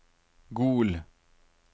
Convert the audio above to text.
Gol